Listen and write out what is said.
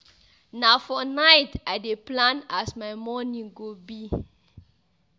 Na for night I dey plan as my morning go be.